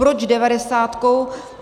Proč devadesátkou?